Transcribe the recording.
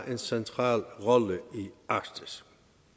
en central rolle i arktis